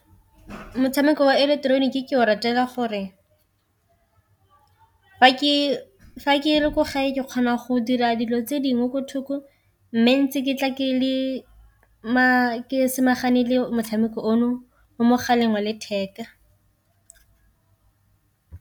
Motshameko ileketeroniki ke o ratela gore fa ke le ko gae ke kgona go dira dilo tse dingwe ko thoko, mme ntsi ke tla ke samagane le motshameko ono mo mogaleng wa letheka.